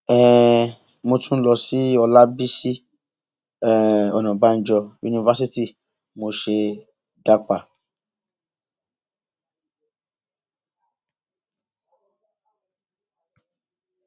um mo tún lọ sí ọlábiṣí um ọnàbànjọ yunifásitì mo ṣe dápà